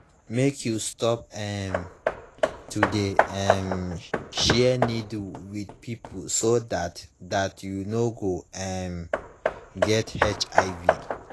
mk you stop um to de um share needle with people so that that you no go um get hiv